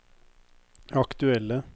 aktuelle